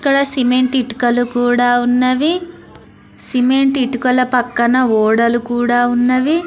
ఇక్కడ సిమెంట్ ఇటుకలు కూడా ఉన్నవి సిమెంట్ ఇటుకల పక్కన ఓడలు కూడా ఉన్నవి.